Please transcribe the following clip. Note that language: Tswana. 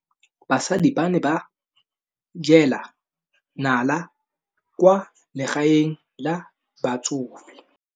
Basadi ba ne ba jela nala kwaa legaeng la batsofe.